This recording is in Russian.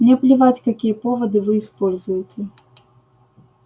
мне плевать какие поводы вы используете